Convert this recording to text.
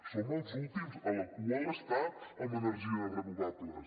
som els últims a la cua de l’estat amb energies renovables